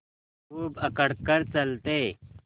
खूब अकड़ कर चलते